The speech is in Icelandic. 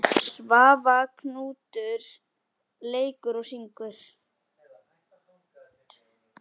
Svavar Knútur leikur og syngur.